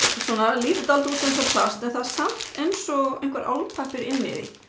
lítur dálítið út eins og plast en það er samt eins og álpappír inni því